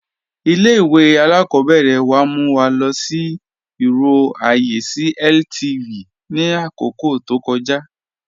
Ilẹ̀-ìwé alákọ̀bẹ̀rẹ̀ wa mú wa lọ sí irò ayé sí LTV ni akókò tó kọ̀ja.